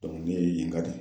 ne ye yen ka de ye.